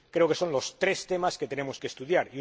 Creo que son los tres temas que tenemos que estudiar.